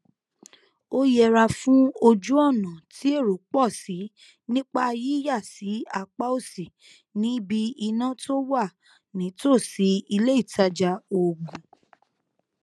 ó yẹra fún ojúònà tí èrò pò sí nípa yíyà sí apá òsì níbi iná tó wà nítòsí iléìtajà oògùn